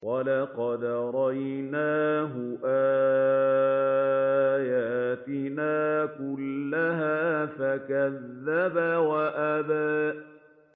وَلَقَدْ أَرَيْنَاهُ آيَاتِنَا كُلَّهَا فَكَذَّبَ وَأَبَىٰ